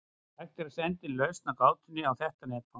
Hægt er að senda inn lausn á gátunni á þetta netfang.